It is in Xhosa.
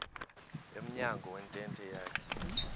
emnyango wentente yakhe